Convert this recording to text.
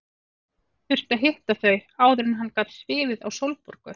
Þurfti að hitta þau áður en hann gat svifið á Sólborgu.